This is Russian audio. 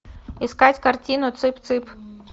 искать картину цып цып